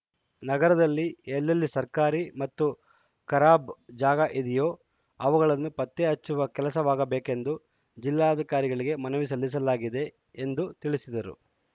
ನಗರದಲ್ಲಿ ಎಲ್ಲೆಲ್ಲಿ ಸರ್ಕಾರಿ ಮತ್ತು ಖರಾಬ್‌ ಜಾಗ ಇದಿಯೋ ಅವುಗಳನ್ನು ಪತ್ತೆ ಹಚ್ಚುವ ಕೆಲಸವಾಗಬೇಕೆಂದು ಜಿಲ್ಲಾಧಿಕಾರಿಗಳಿಗೆ ಮನವಿ ಸಲ್ಲಿಸಲಾಗಿದೆ ಎಂದು ತಿಳಿಸಿದರು